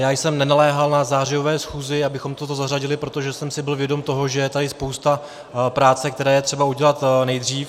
Já jsem nenaléhal na zářijové schůzi, abychom toto zařadili, protože jsem si byl vědom toho, že je tady spousta práce, kterou je třeba udělat nejdřív.